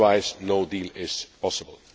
Otherwise, no deal is possible.